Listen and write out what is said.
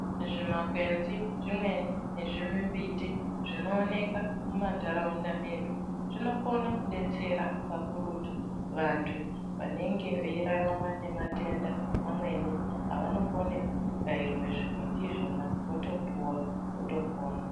Zvimakwenzi zvimweni nezvimimbiti zvinoonekwa muma ntaraunda medu, zvinokona kudetsera kakurutu vantu vanenge veirarama nematenda amweni avanokone kubayirwe zvimiti izvona votopuwa votopona.